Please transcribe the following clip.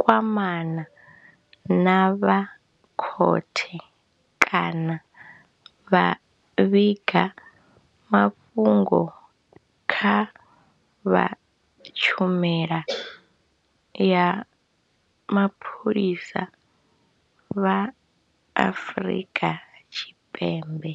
kwamana na vha khothe kana vha vhiga mafhungo kha vha Tshumelo ya Mapholisa vha Afrika Tshipembe.